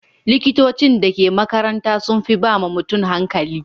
Likitocin da ke makaranta sun fi ba ma mutum hankali.